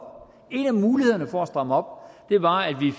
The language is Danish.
en af mulighederne for at stramme op var at